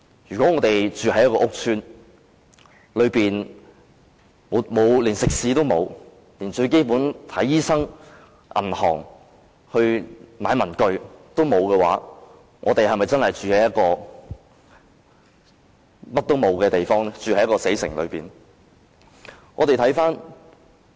如果我們住在屋邨內，連最基本的食肆、診所、銀行、文具店也欠奉，我們是否真的住在一座甚麼都沒有的死城內？